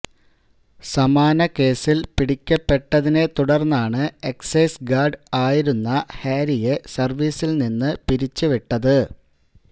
സമാന കേസില് പിടിക്കപ്പെട്ടതിനെ തുടര്ന്നാണ് എക്സൈസ് ഗാര്ഡ് ആയിരുന്ന ഹാരിയെ സര്വ്വീസില് നിന്ന് പിരിച്ചുവിട്ടത്